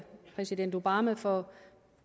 præsident obama for